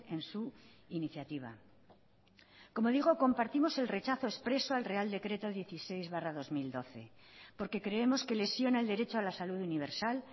en su iniciativa como digo compartimos el rechazo expreso al real decreto dieciséis barra dos mil doce porque creemos que lesiona el derecho a la salud universal